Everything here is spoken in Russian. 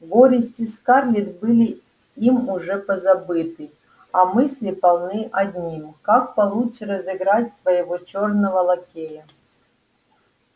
горести скарлетт были им уже позабыты а мысли полны одним как получше разыграть своего чёрного лакея